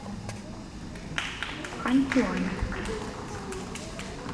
ханьчуань